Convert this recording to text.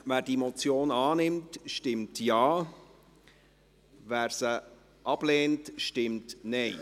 Wer diese Motion annimmt, stimmt Ja, wer diese ablehnt, stimmt Nein.